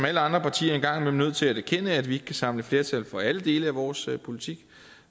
alle andre partier en gang imellem nødt til at erkende at vi ikke kan samle flertal for alle dele af vores politik